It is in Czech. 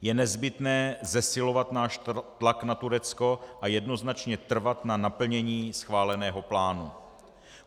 Je nezbytné zesilovat náš tlak na Turecko a jednoznačně trvat na naplnění schváleného plánu.